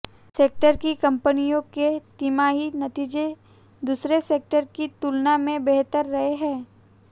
sector की कंपनियों के तिमाही नतीजे दूसरे सेक्टर की तुलना में बेहतर रहे हैं